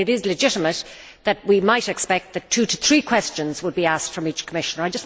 It is legitimate that we might expect that two to three questions would be asked from each Commissioner.